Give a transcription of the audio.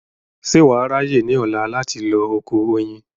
ṣé wà á ráyè ní ọ̀la láti lọ oko oyin